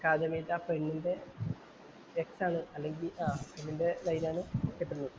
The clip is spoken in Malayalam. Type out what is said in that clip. ആ പെണ്ണിന്‍റെ X ആണ് ആ ഇവന്‍റെ ലൈനാണ് മറ്റേ പെണ്ണ്.